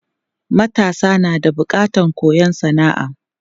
Matasa na da bukatan koyon sana'a.